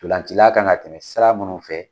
Ntolacila kan na tɛmɛ sira munnu fɛ